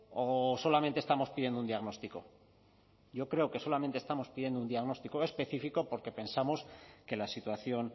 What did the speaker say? o solamente estamos pidiendo un diagnóstico yo creo que solamente estamos pidiendo un diagnóstico específico porque pensamos que la situación